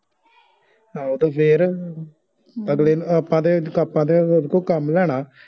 ਆਹੋ ਤੇ ਫੇਰ ਅਗਲੇ ਨੂੰ ਆਪਾ ਤੇ ਆਪਾ ਤੇ ਉਦੇ ਕੋ ਕੰਮ ਲੈਣਾ